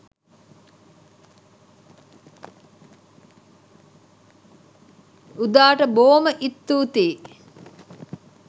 උදාට බෝම ඉත්තූතියි